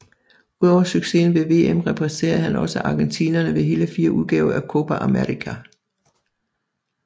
Udover succesen ved VM repræsenterede han også argentinerne ved hele fire udgaver af Copa América